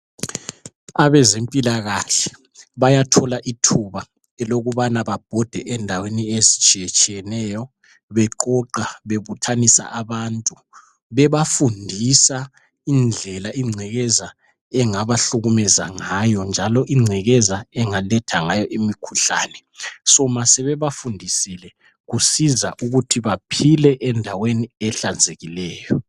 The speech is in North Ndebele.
Abazempilakahle bayathola ithuba elokubana babhode indaweni ezitshiyatshiyeneyo beqoqa bebuthanisa abantu bebafundisa indlela ingcekeza engabahlukumeza ngayo njalo ingcekeza engaletha ngayo imikhuhlane. Soma sebebafundisile kusiza ukuthi baphile endaweni ehlanzekileyo.